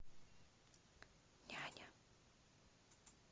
няня